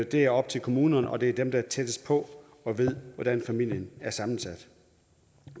det er op til kommunerne og det er dem der er tættest på og ved hvordan familien er sammensat